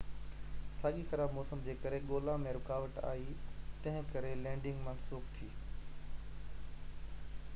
ساڳئي خراب موسم جي ڪري ڳولا ۾ رڪاوٽ آئي تنهن ڪري لينڊنگ منسوخ ٿي